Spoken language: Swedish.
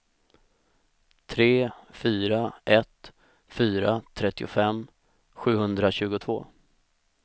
tre fyra ett fyra trettiofem sjuhundratjugotvå